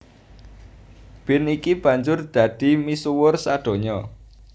Bean iki banjur dadi misuwur sadonya